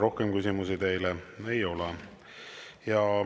Rohkem küsimusi teile ei ole.